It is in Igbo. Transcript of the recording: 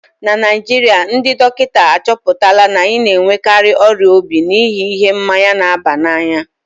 na Naijiria, ndị dọkịta achọpụtala na anyị na-enwekarị ọrịa obi n'ihi ihe mmanya na-aba n'anya